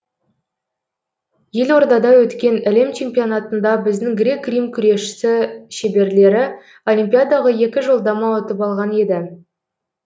елордада өткен әлем чемпионатында біздің грек рим күресшісі шеберлері олимпиадаға екі жолдама ұтып алған еді